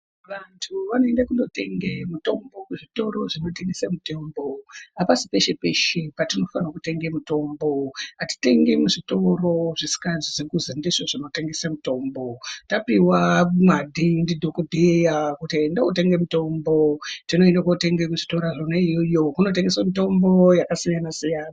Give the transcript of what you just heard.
Vantu vanoenda kundotenge mutombo kuzvitoro zvinotengese mutombo hapisi peshe peshe patinofane kutenge mutombo hatitengi muzvitoro zvisikazwi kuzi ndizvo zvinonotengese mitombo tapiwa nxwadhi ndidhokodheya kuti enda wotenge mutombo tinoende kotenge kuzvitora yona iyoyo kunotengeswe mitombo yakasiyanasiyana.